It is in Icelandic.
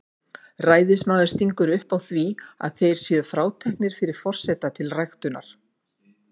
Ræðismaður stingur upp á því að þeir séu fráteknir fyrir forseta til ræktunar.